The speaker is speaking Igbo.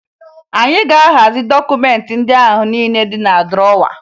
Anyị ga-ahazi dọkụmentị ndị ahụ niile dị na drọwa